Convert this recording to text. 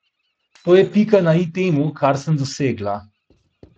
To je pika na i temu, kar sem dosegla.